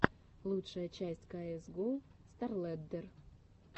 лучшая часть каэс гоу старлэддер